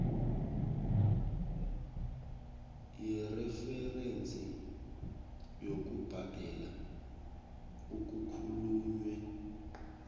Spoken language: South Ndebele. yereferensi yokubhadela okukhulunywe